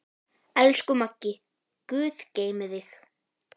Elsku Maggi, guð geymi þig.